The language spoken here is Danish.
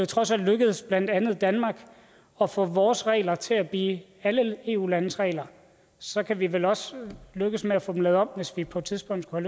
trods alt lykkedes blandt andet danmark at få vores regler til at blive alle eu landes regler så kan vi vel også lykkes med at få dem lavet om hvis vi på et tidspunkt skulle